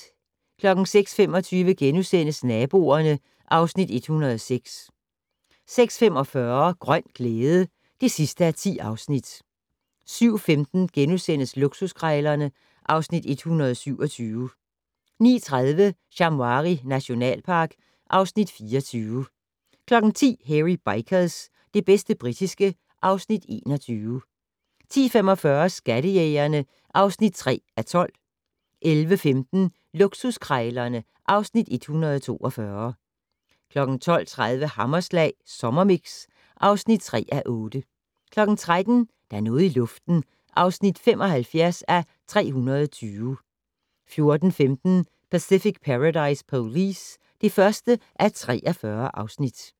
06:25: Naboerne (Afs. 106)* 06:45: Grøn glæde (10:10) 07:15: Luksuskrejlerne (Afs. 127)* 09:30: Shamwari nationalpark (Afs. 24) 10:00: Hairy Bikers - det bedste britiske (Afs. 21) 10:45: Skattejægerne (3:12) 11:15: Luksuskrejlerne (Afs. 142) 12:30: Hammerslag Sommermix (3:8) 13:00: Der er noget i luften (75:320) 14:15: Pacific Paradise Police (1:43)